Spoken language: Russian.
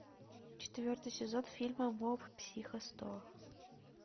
четвертый сезон фильма моб психо сто